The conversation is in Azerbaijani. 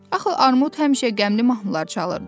Axı Armud həmişə qəmli mahnılar çalırdı.